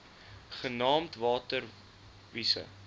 genaamd water wise